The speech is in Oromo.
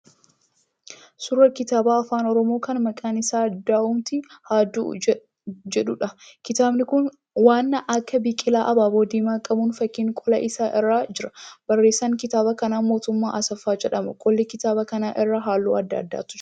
Suuraa kitaaba afaan oromoo kan maqaan isaa Du'umti Ha Du'u jedhuudha. Kitaabni kun waan akka biqilaa abaaboo diimaa qabuun fakkiin qola isaa irra jira. Barreessaan kitaaba kanaa Mootummaa Asaffaa jedhama. Qola kitaaba kanaa irra halluu adda addaatu jira.